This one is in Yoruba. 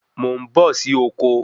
Mò ń bọ̀ sì oko